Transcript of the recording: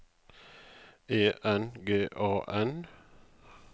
E N G A N